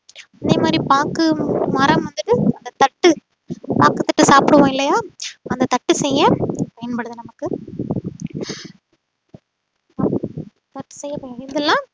அதே மாதிரி பாக்கு மரம் வந்துட்டு அந்த தட்டு பாக்கு தட்டு சாப்பிடுவோம் இல்லையா அந்த தட்டு செய்ய பயன்படுது நமக்கு இதுலாம்